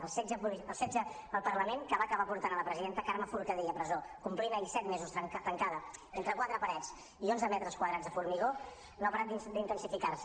el setge al parlament que va acabar portant la presidenta carme forcadell a presó que complia ahir set mesos tancada entre quatre parets i onze metres quadrats de formigó no ha parat d’intensificar se